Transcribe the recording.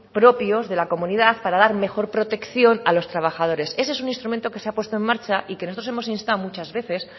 propios de la comunidad para dar mejor protección a los trabajadores ese es un instrumento que se ha puesto en marcha y que nosotros hemos instado muchas veces